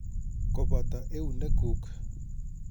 Kopoto eunek kuuk.